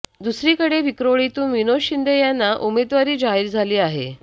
दुसरीकडे विक्रोळीतून विनोद शिंदे यांना उमेदवारी जाहीर झाली आहे